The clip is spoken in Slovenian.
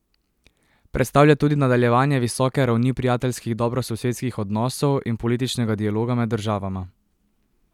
Predstavlja tudi nadaljevanje visoke ravni prijateljskih dobrososedskih odnosov in političnega dialoga med državama.